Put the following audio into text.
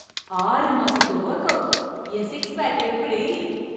ஆறு மாசத்து ஒர்க்அவுட். என் சிக்ஸ் பேக் எப்புடி!